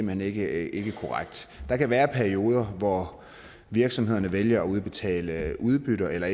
hen ikke korrekt der kan være perioder hvor virksomhederne vælger at udbetale udbytter eller